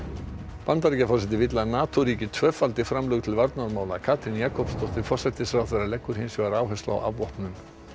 Bandaríkjaforseti vill að NATO ríki tvöfaldi markmið framlög til varnarmála Katrín Jakobsdóttir forsætisráðherra leggur hins vegar áherslu á afvopnun